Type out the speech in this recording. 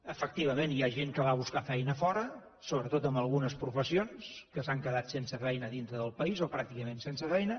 efectivament hi ha gent que va a buscar feina a fora sobretot en algunes professions que s’han quedat sense feina a dintre del país o pràcticament sense feina